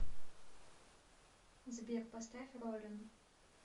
сбер поставь ролин